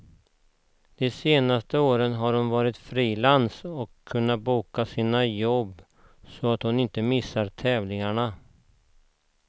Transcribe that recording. De senaste året har hon varit frilans och kunnat boka sina jobb så att hon inte missar tävlingarna.